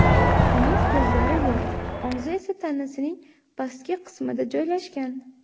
Uning ko‘zlari yo‘q, og‘zi esa tanasining pastki qismida joylashgan.